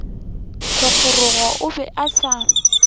thogorogo o be a sa